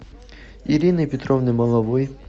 ирины петровны маловой